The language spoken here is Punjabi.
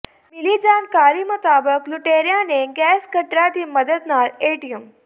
ਮਿਲੀ ਜਾਣਕਾਰੀ ਮੁਤਾਬਕ ਲੁਟੇਰਿਆਂ ਨੇ ਗੈਸ ਕਟਰਾਂ ਦੀ ਮਦਦ ਨਾਲ ਏਟੀਐੱਮ